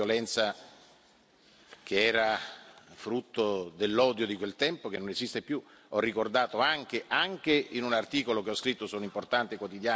Io volevo soltanto ricordare le vittime di una violenza che era frutto dell'odio di quel tempo, che non esiste più.